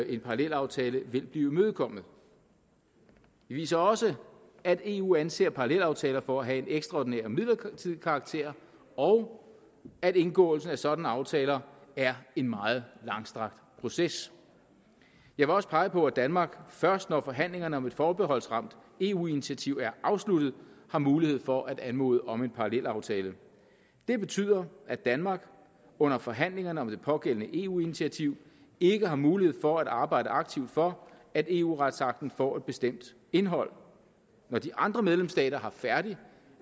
en parallelaftale vil blive imødekommet det viser også at eu anser parallelaftaler for at have en ekstraordinær midlertidig karakter og at indgåelse af sådanne aftaler er en meget langstrakt proces jeg vil også pege på at danmark først når forhandlingerne om et forbeholdsramt eu initiativ er afsluttet har mulighed for at anmode om en parallelaftale det betyder at danmark under forhandlingerne om det pågældende eu initiativ ikke har mulighed for at arbejde aktivt for at eu retsakten får et bestemt indhold når de andre medlemsstater